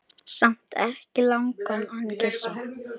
Samt ekki langað að kyssa.